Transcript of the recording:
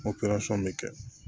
bɛ kɛ